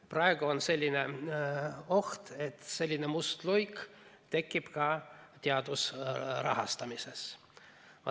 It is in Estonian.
Praegu on selline oht, et selline must luik tekib ka teaduse rahastamises.